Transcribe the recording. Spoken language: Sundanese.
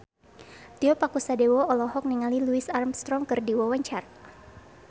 Tio Pakusadewo olohok ningali Louis Armstrong keur diwawancara